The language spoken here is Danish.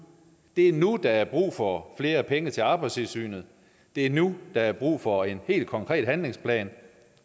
det er nu der er brug for flere penge til arbejdstilsynet og det er nu der er brug for en helt konkret handlingsplan